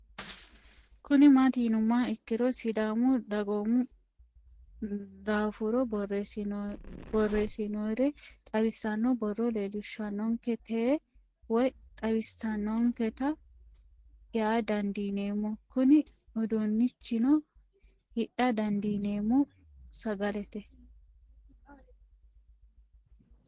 Kuni mati yinumoha ikiro sidaamu dagoomu dafora boresinonire xawisano booro leesishanonike te woyi xawisanonikete yaa dandineemo Kuni udunichino hidha dandinemo sagalet